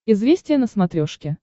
известия на смотрешке